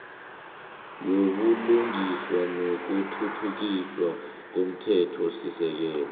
wobulungiswa nokuthuthukiswa komthethosisekelo